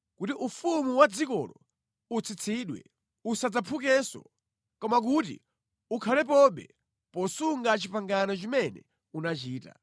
kuti ufumu wa dzikolo utsitsidwe, usadzaphukenso, koma kuti ukhalepobe posunga pangano limene unachita.